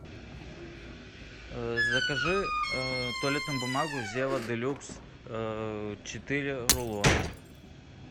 закажи туалетную бумагу зева делюкс четыре рулона